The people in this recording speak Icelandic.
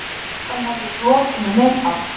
Sjaldan hef ég flotinu neitað.